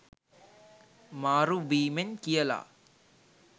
මාරු වීමෙන් කියලා.